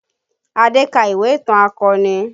Adé ka ìwé ìtàn akọni